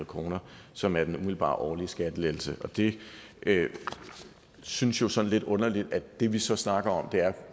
kr som er den umiddelbare årlige skattelettelse og det synes jo sådan lidt underligt at det vi så snakker om er